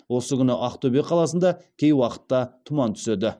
осы күні ақтөбе қаласында кей уақытта тұман түседі